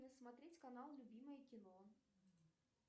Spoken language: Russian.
смотреть канал любимое кино